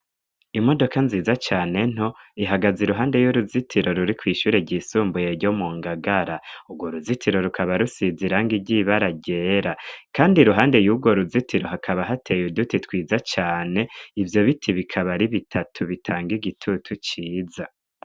Imodoka nziza cane nto ihagaza iruhande y'uruzitiro ruri kw'ishure ry'isumbuye ryo mu ngagara, urwo ruzitiro rukaba rusiza iranga iryibara ryera, kandi i ruhande y'urwo ruzitiro hakaba hateye uduti twiza cane ivyo biti bikabari bitatu bitanga igitutu ciza.